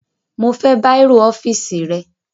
Mo fẹ́ bàírò ọ́fíìsì rẹ